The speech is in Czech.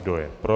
Kdo je pro?